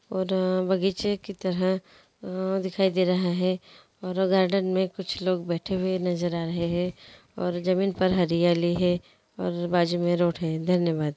और बगीचे की तरह अ दिखाई दे रहा है और गार्डन मैं कुछ लोग बैठे हुए नजर आ रहे है और जमीन पर हैरियलि हैं और बाजु मैं रोड हैं धन्यवा।